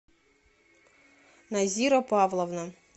назира павловна